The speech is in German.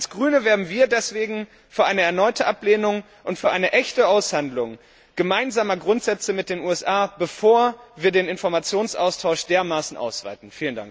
Als Grüne wären wir deswegen für eine erneute Ablehnung und für eine echte Aushandlung gemeinsamer Grundsätze mit den USA, bevor wir den Informationsaustausch dermaßen ausweiten.